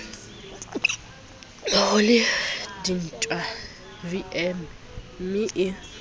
ho le dintwa vmme e